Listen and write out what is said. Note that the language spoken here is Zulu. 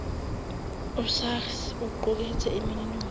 usars uqukethe iminingwane